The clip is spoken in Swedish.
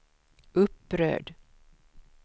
upprörd